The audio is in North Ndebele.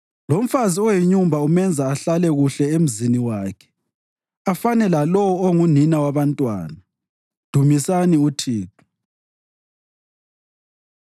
Lomfazi oyinyumba umenza ahlale kuhle emzini wakhe afane lalowo ongunina wabantwana. Dumisani uThixo.